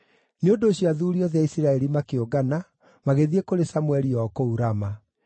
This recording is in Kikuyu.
Nĩ ũndũ ũcio athuuri othe a Isiraeli makĩũngana, magĩthiĩ kũrĩ Samũeli o kũu Rama.